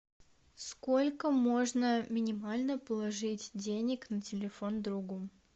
сколько можно минимально положить денег на телефон другу